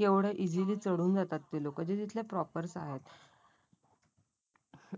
एवढं टेम्पल ली चढून जातत ते लोकं ते तिथले प्रॉपर आहे.